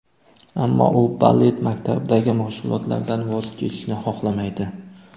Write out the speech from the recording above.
Ammo u balet maktabidagi mashg‘ulotlaridan voz kechishni xohlamaydi.